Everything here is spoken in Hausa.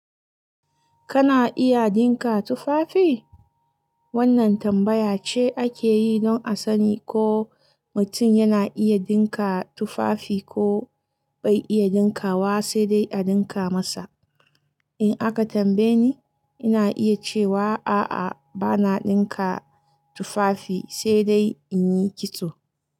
Kana iya dinka tufafi? Wannan tambaya ce ake yi don a sani ko mutum yana iya dinka tufafi ko bai iya dinka wa sai dai a dinka masa. In aka tambaye ni, ina iya cewa a'a bana dinka tufafi sai dai in yi kitso.